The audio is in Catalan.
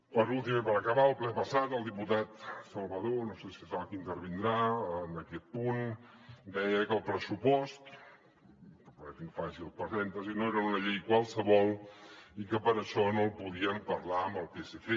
per últim i per acabar al ple passat el diputat salvadó no sé si és ara el que intervindrà en aquest punt deia que el pressupost permeti’m que faci un parèntesi no era una llei qualsevol i que per això no el podien parlar amb el psc